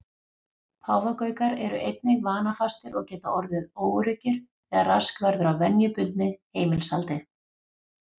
Páfagaukar eru einnig vanafastir og geta orðið óöruggir þegar rask verður á venjubundnu heimilishaldi.